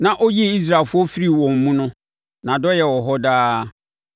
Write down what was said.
na ɔyii Israelfoɔ firii wɔn mu no. Nʼadɔeɛ wɔ hɔ daa.